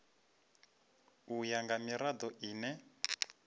u ya nga mirado ine